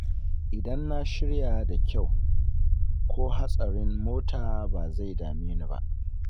Idan na shirya da kyau, ko hatsarin mota ba zai dame ni ba.